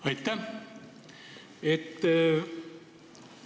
Aitäh!